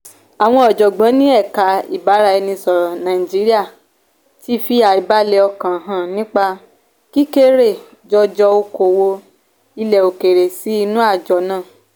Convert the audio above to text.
àwọn ọ̀jọ̀gbọ́n ni èka ibaraėnisọ̀rọ naijiriya tí fi àìbálẹ̀ ọkàn hàn nípa kíkéré-jọjọ okowo ilẹ̀-òkèèrè sì inú àjọ nà.